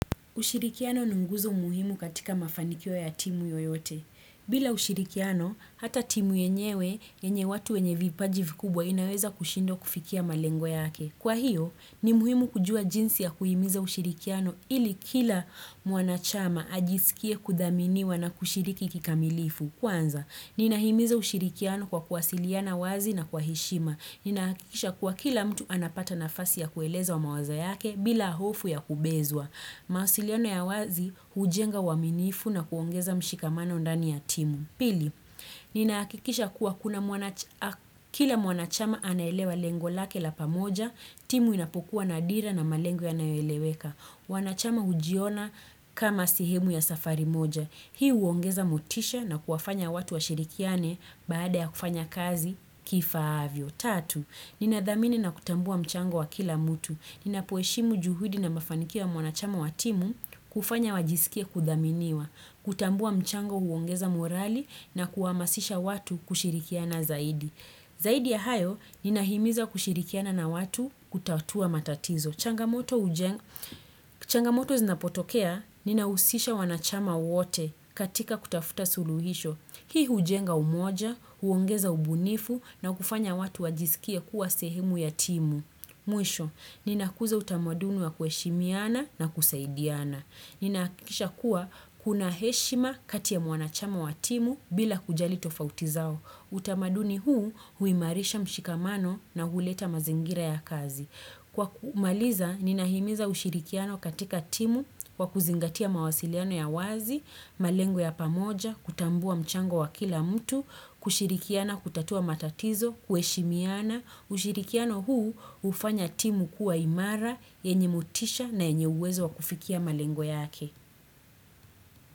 Ushirikiano ni nguzo muhimu katika mafanikio ya timu yoyote. Bila ushirikiano, hata timu yenyewe, yenye watu wenye vipaji vikubwa inaweza kushindwa kufikia malengo yake. Kwa hiyo, ni muhimu kujua jinsi ya kuhimiza ushirikiano ili kila mwanachama ajisikie kudhaminiwa na kushiriki kikamilifu. Kwanza, ninahimiza ushirikiano kwa kuwasiliana wazi na kwa heshima. Ninahakikisha kuwa kila mtu anapata nafasi ya kueleza mawazo yake bila hofu ya kubezwa. Mawasiliano ya wazi, hujenga uaminifu na kuongeza mshikamano ndani ya timu. Pili, ninahakikisha kuwa kila mwanachama anaelewa lengo lake la pamoja, timu inapokuwa na dira na malengo yayoeleweka. Wanachama hujiona kama sehemu ya safari moja. Hii huongeza motisha na kuwafanya watu washirikiane baada ya kufanya kazi kifahavyo. Tatu, ninadhamini na kutambua mchango wa kila mtu. Ninapoheshimu juhudi na mafanikio ya mwanachama wa timu, hufanya wajisikie kudhaminiwa. Kutambua mchango huongeza morali na kuhamasisha watu kushirikiana zaidi. Zaidi ya hayo, ninahimiza kushirikiana na watu kutatua matatizo. Changamoto zinapotokea, ninahusisha wanachama wote katika kutafuta suluhisho. Hii hujenga umoja, huongeza ubunifu na kufanya watu wajisikie kuwa sehemu ya timu. Mwisho, ninakuza utamaduni wa kuheshimiana na kusaidiana. Ninahakikisha kuwa kuna heshima kati ya mwanachama wa timu, bila kujali tofauti zao. Utamaduni huu huimarisha mshikamano na huleta mazingira ya kazi. Kwa kumaliza, ninahimiza ushirikiano katika timu kwa kuzingatia mawasiliano ya wazi, malengo ya pamoja, kutambua mchango wa kila mtu, kushirikiana kutatua matatizo, kuheshimiana, ushirikiano huu hufanya timu kuwa imara, yenye motisha na yenye uwezo wakufikia malengo yake.